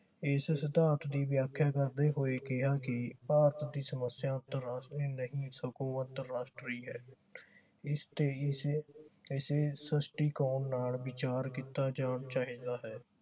ਇਸ ਸਿਧਾਂਤ ਦੀ ਵਿਆਖਿਆ ਕਰਦੇ ਹੋਏ ਕਿਹਾ ਕਿ ਭਾਰਤ ਦੀ ਸਮਸਿਆ ਅੰਤਰਰਾਸ਼ਟਰੀ ਨਹੀਂ ਸਗੋਂ ਅੰਤਰਰਾਸ਼ਟਰੀ ਹੈ ਸ੍ਰਿਸ਼ਟੀਕੋਨ ਨਾਲ ਵਿਚਾਰ ਕੀਤਾ ਜਾਣਾ ਚਾਹੀਦਾ ਹੈ